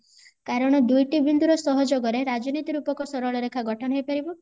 କାରଣ ଦୁଇଟି ବିନ୍ଦୁ ର ସହଯୋଗ ରେ ରାଜନୀତି ରୂପକ ସରଳରେଖା ଗଠନ ହେଇପାରିବ